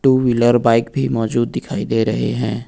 To wheeler bike भी मौजूद दिखाई दे रहे हैं।